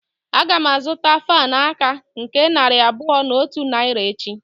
Agam azuta fan aka nke narị abuo na otu naira echi.